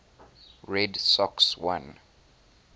red sox won